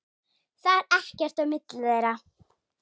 Það er ekkert á milli þeirra.